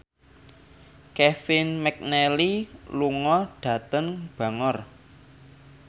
Kevin McNally lunga dhateng Bangor